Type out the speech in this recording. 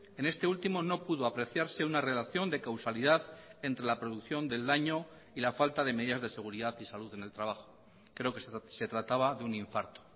en este último no pudo apreciarse una relación de causalidad entre la producción del daño y la falta de medidas de seguridad y salud en el trabajo creo que se trataba de un infarto